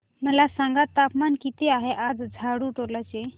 मला सांगा तापमान किती आहे आज झाडुटोला चे